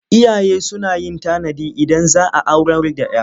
Iyaye suna yin tanadi Idan za a aurar da 'ya.